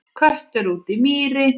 Köttur úti í mýri